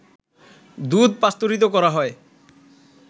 দুধ পাস্তুরিত করা হয়